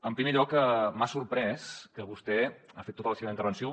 en primer lloc m’ha sorprès que vostè ha fet tota la seva intervenció